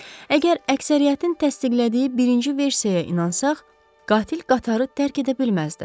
Əgər əksəriyyətin təsdiqlədiyi birinci versiyaya inansaq, qatil qatarı tərk edə bilməzdi.